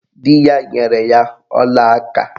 Di ya nyere ya olaaka